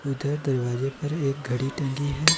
इधर दरवाजे पर एक घड़ी टंगी है।